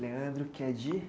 Leandro, que é de?